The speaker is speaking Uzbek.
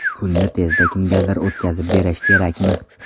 Pulni tezda kimgadir o‘tkazib berish kerakmi?